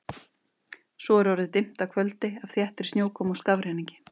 Svo er orðið dimmt af kvöldi, af þéttri snjókomu og skafrenningi.